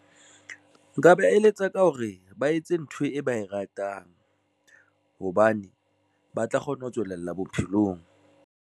Nka ba eletsa ka hore ba etse ntho e ba e ratang hobane ba tla kgona ho tswelella bophelong.